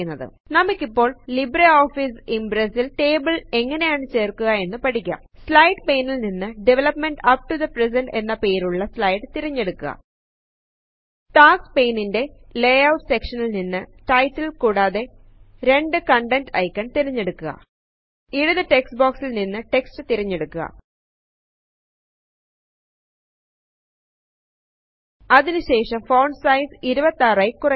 നമുക്കിപ്പോൾ Libre Office ഇമ്പ്രെസ്സിൽ table എങ്ങനെയാണു ചേർക്കുക എന്ന് പഠിക്കാം സ്ലൈഡ് പെയ്നിൽ നിന്ന് development up to the present എന്ന് പേരുള്ള സ്ലൈഡ് തിരഞ്ഞെടുക്കുക ടാസ്ക് പെയ്നിന്റെ ലയൌറ്റ് സെക്ഷനിൽ നിന്ന് ടൈറ്റിൽ കൂടാതെ 2 കണ്ടെന്റ് ഐക്കൺ തിരഞ്ഞെടുക്കുക ഇടതു ടെക്സ്റ്റ് ബോക്സിൽ നിന്നും ടെക്സ്റ്റ് തിരഞ്ഞെടുക്കുക അതിനു ശേഷം ഫോണ്ട് സൈസ് 26 ആയി കുറയ്ക്കുക